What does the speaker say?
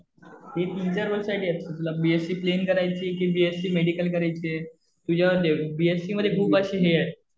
ते future role साठी असतं. तुला बीएससी प्लेन करायचीय कि बीएससी मेडिकल करायचीय? तुझ्यावरती आहे. बीएससी मध्ये खूप अशे हे आहे.